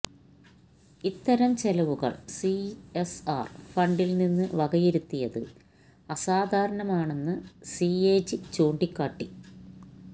ഇത്തരം ചെലവുകൾ സിഎസ്ആർ ഫണ്ടിൽനിന്ന് വകയിരുത്തിയത് അസാധാരണമാണെന്ന് സിഎജി ചൂണ്ടിക്കാട്ടി